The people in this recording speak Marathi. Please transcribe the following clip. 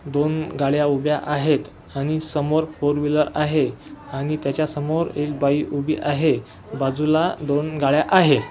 दोन गाड्या उभ्या आहेत आणि समोर फोर व्हीलर आहे आणि त्याच्यासमोर एक बाई उभी आहे बाजूला दोन गाड्या आहे.